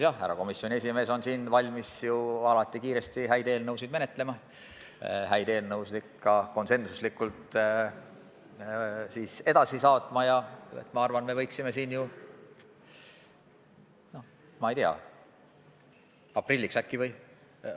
Härra komisjoni esimees on alati valmis häid eelnõusid kiiresti menetlema, häid eelnõusid ka konsensuslikult edasi saatma ja ma arvan, et me võiksime siin, ma ei tea, aprilliks äkki kusagile jõuda.